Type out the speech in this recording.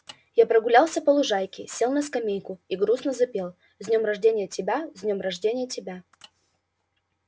я прогулялся по лужайке сел на скамейку и грустно запел с днём рожденья тебя с днём рожденья тебя